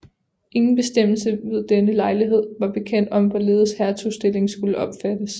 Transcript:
Ingen bestemmelse ved denne lejlighed var bekendt om hvorledes hertugstillingen skulle opfattes